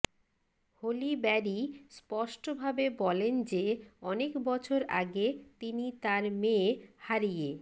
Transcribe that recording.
Holi Barry স্পষ্টভাবে বলেন যে অনেক বছর আগে তিনি তার মেয়ে হারিয়ে